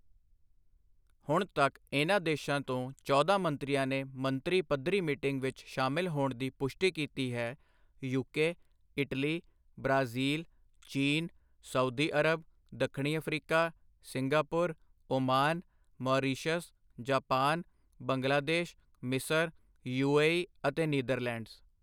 ਹੁਣ ਤੱਕ ਇਨ੍ਹਾਂ ਦੇਸ਼ਾਂ ਤੋਂ ਚੌਦਾਂ ਮੰਤਰੀਆਂ ਨੇ ਮੰਤਰੀ ਪੱਧਰੀ ਮੀਟਿੰਗ ਵਿੱਚ ਸ਼ਾਮਿਲ ਹੋਣ ਦੀ ਪੁਸ਼ਟੀ ਕੀਤੀ ਹੈ ਯੂਕੇ, ਇਟਲੀ, ਬ੍ਰਾਜੀਲ, ਚੀਨ, ਸਾਊਦੀ ਅਰਬ, ਦੱਖਣੀ Africa, Singapore, Oman, Mauritius, Japan, Bangladesh, ਮਿਸਰ, ਯੂਏਈ ਅਤੇ ਨੀਦਰਲੈਂਡਸ।